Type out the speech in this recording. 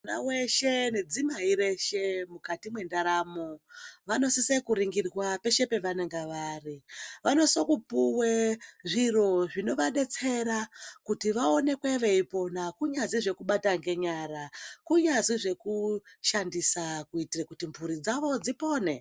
Mwana weshe nedzimai reshe mukati mwendaramo vanosisa kuringirwa peshe pavanenge vari. Vanosisa kupuwa zviro zvinovadetsera kuti vaonekwe veipona kunyazvi zvekubata ngenyara, kunyazvi zvekushandisa kuitira kuti mphuri dzawo dzipone.